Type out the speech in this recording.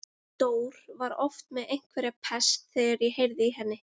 Dór var oft með einhverja pest þegar ég heyrði í henni.